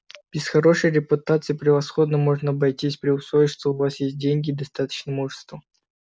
без хорошей репутации превосходно можно обойтись при условии что у вас есть деньги и достаточно мужества